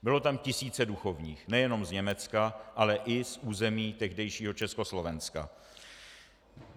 Bylo tam tisíce duchovních nejenom z Německa, ale i z území tehdejšího Československa.